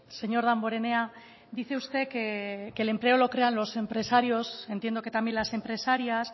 señor damborenea dice usted que el empleo lo crean los empresarios entiendo que también las empresarias